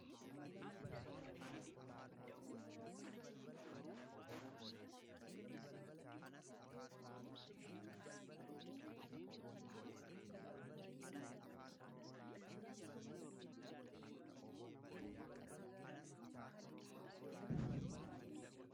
Naannoo kanatti namoota baay'ee dhaabbachaa jiranidha. namoonni dhaabbatanii harka isaanii achi ol kaa'anii jiru. namoota kana dugda duubaa alaabaa baay'ee argaa jira. akkasuma illee namoonni kun namoota shan kan tahanidha. namoonni shanan kana keessaa sadii dubartootadha.